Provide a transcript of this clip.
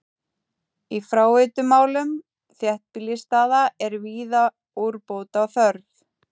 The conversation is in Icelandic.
Í fráveitumálum þéttbýlisstaða er víða úrbóta þörf.